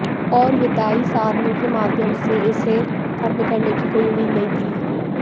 और विधायी साधनों के माध्यम से इसे खत्म करने की कोई उम्मीद नहीं थी